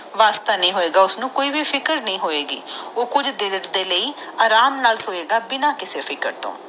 ਵਾਸਤਾ ਨੀ ਹੋਏਗਾ ਉਸ ਨੁਕੋਈ ਵੀ ਫਿਕਰ ਨੀ ਹੋਏ ਗਈ ਉਹ ਕੁਜ ਦੀਨਾ ਦੇ ਲਾਇ ਉਹ ਅਰਾਮ ਨਾਲ ਸਏਗਾ ਬਿਨਾ ਕਿਸੇ ਫਿਕਰ ਤੋਂ